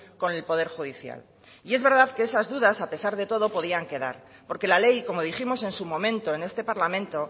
con el poder judicial y es verdad que esas dudas a pesar de todo podían quedar porque la ley como dijimos en su momento en este parlamento